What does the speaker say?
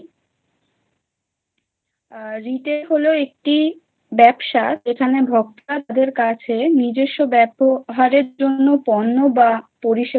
আ retail হল একটি ব্যবসা যেখানে ভোক্তাদের কাছে নিজস্ব ব্যবহারের জন্য পণ্য বা পরিষেবা